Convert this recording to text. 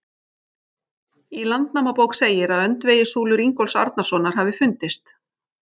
Í Landnámabók segir að öndvegissúlur Ingólfs Arnarsonar hafi fundist.